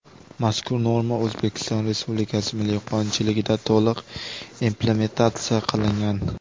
Mazkur norma O‘zbekiston Respublikasi milliy qonunchiligida to‘liq implementatsiya qilingan.